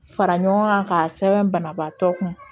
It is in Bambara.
Fara ɲɔgɔn ŋa k'a sɛbɛn banabaatɔ kun